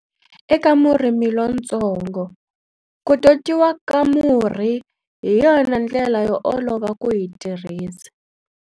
Eka murimi lontsongo, ku totiwa ka murhi hi yona ndlela yo olova ku yi tirhisa.